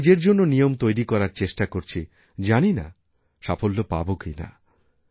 আমি নিজের জন্য নিয়ম তৈরি করার চেষ্টা করছি জানিনা সাফল্য পাবো কি না